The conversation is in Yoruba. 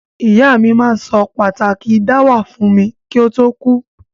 Ìyá mi ma n so pàtàki dáwà fun mi ki o to kú